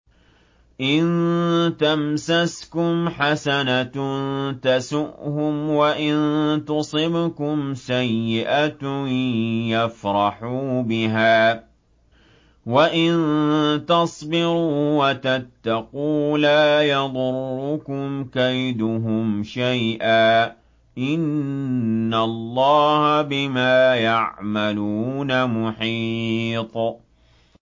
إِن تَمْسَسْكُمْ حَسَنَةٌ تَسُؤْهُمْ وَإِن تُصِبْكُمْ سَيِّئَةٌ يَفْرَحُوا بِهَا ۖ وَإِن تَصْبِرُوا وَتَتَّقُوا لَا يَضُرُّكُمْ كَيْدُهُمْ شَيْئًا ۗ إِنَّ اللَّهَ بِمَا يَعْمَلُونَ مُحِيطٌ